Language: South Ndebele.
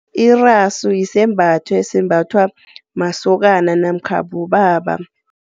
Irasu yisembatho, esembathwa masokana namkha bobaba.